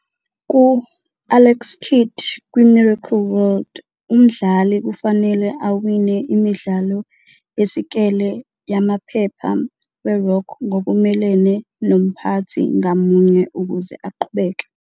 Ku- "Alex Kidd kwi-Miracle World", umdlali kufanele awine imidlalo yesikele yamaphepha we-rock ngokumelene nomphathi ngamunye ukuze aqhubeke.